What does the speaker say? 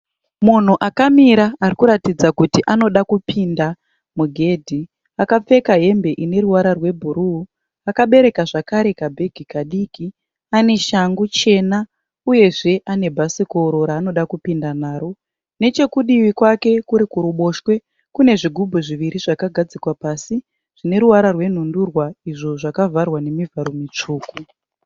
Munhu akamira arikuratidza kuti anoda kupinda mugedhi. Akapfeka ine ruvara rwebhuru. Akabereka zvakare kabhegi kadiki. Ane shangu chena uyezve ane bhasikoro raanoda kupinda naro. Nechekudivi kwake kuri kuruboshwe kune zvigubhu zviviri zvakagadzikwa pasi zvine ruvara rwenhundurwa izvo zvakavharwa nezvivharo zvitsvuku.